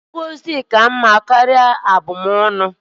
Ngọzi ka-adị mma karịa nkọcha.